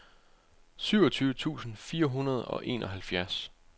syvogtyve tusind fire hundrede og enoghalvfjerds